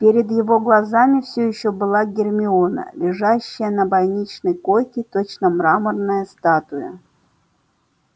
перед его глазами все ещё была гермиона лежащая на больничной койке точно мраморная статуя